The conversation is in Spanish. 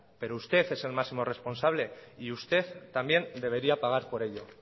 pero usted es el máximo responsable y usted también debería pagar por ello